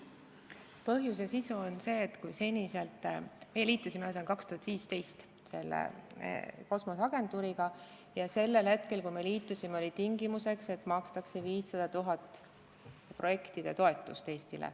Põhjus ja sisu on see, et kui me liitusime kosmoseagentuuriga aastal 2015, siis oli tingimuseks, et Eestile makstakse 500 000 eurot aastas projektide toetust.